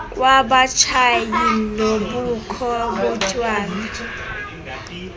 kwabatshayi nobukho botywala